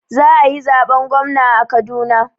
Za a yi zaben gwamna a Kaduna.